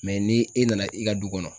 ni e nana i ka du kɔnɔ